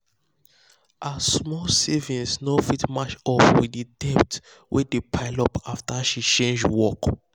her small savings no fit match up with the debt wey dey pile up after she change work.